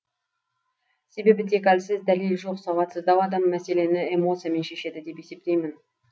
себебі тек әлсіз дәлелі жоқ сауатсыздау адам мәселені эмоциямен шешеді деп есептеймін